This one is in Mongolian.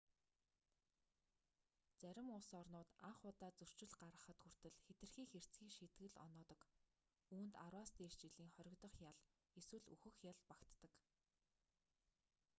зарим улс орнууд анх удаа зөрчил гаргахад хүртэл хэтэрхий хэрцгий шийтгэл оноодог үүнд 10-аас дээш жилийн хоригдох ял эсвэл үхэх ял багтдаг